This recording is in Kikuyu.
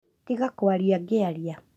Tiga kwaria ngĩaria